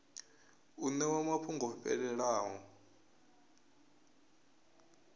u ṋewa mafhungo o fhelelaho